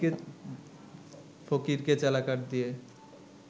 ফকিরকে চ্যালা কাঠ দিয়ে